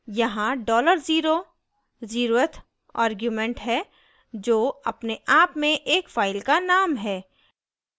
यहाँ $0 dollar zero zeroth argument है जो अपने आप में एक file का name है